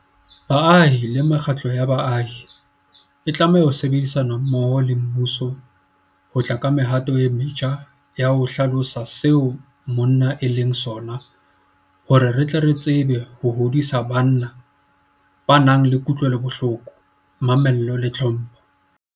Baahi le mekgatlo ya baahi e tlameha ho sebedisana mmoho le mmuso ho tla ka mehato e metjha ya ho hlalosa seo monna e leng sona hore re tle re tsebe ho hodisa banna ba nang le kutlwelobohloko, mamello le tlhompho.